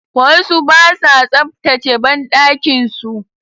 Wasu basa tsaftace banɗakin su